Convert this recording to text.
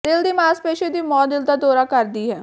ਦਿਲ ਦੀ ਮਾਸਪੇਸ਼ੀ ਦੀ ਮੌਤ ਦਿਲ ਦਾ ਦੌਰਾ ਕਰਦੀ ਹੈ